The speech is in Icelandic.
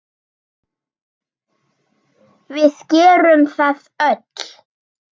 Við gerum það öll.